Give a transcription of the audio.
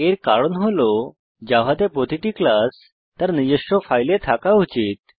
এর কারণ হল জাভাতে প্রতিটি ক্লাস তার নিজস্ব ফাইলে থাকা উচিত